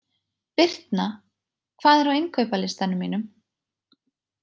Birtna, hvað er á innkaupalistanum mínum?